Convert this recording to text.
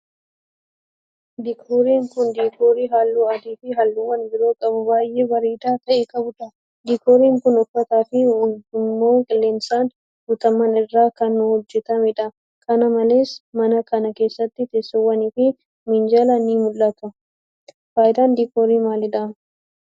Diikooriin kun, diikoorii haalluu adii fi haalluuwwan biroo qabu baay'ee bareedaa ta'e qabuu dha. Diikooriin kun, uffataa fi ujummoo qilleensaan guutaman irraa kan hojjatamee dha. Kana malees ,mana kana keessatti teessoowwanii fi minjaalli ni mul'atu. Faayidaan diikoorii maali dha?